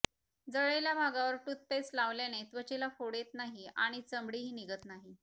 जळलेल्या भागावर टूथपेस्ट लावल्याने त्वचेला फोड येत नाही आणि चामडीही निघत नाही